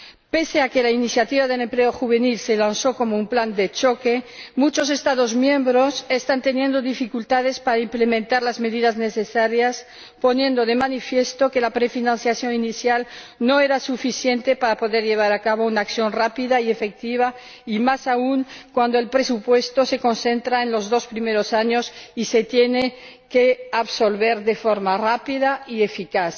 Pese a que la Iniciativa de Empleo Juvenil se lanzó como un plan de choque, muchos Estados miembros están teniendo dificultades para implementar las medidas necesarias, lo que pone de manifiesto que la prefinanciación inicial no era suficiente para poder llevar a cabo una acción rápida y efectiva, más aún cuando el presupuesto se concentra en los dos primeros años y se tiene que absorber de forma rápida y eficaz.